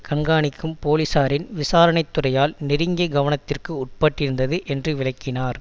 கண்காணிக்கும் போலீசாரின் விசாரணை துறையால் நெருங்கிய கவனத்திற்கு உட்பட்டிருந்தது என்று விளக்கினார்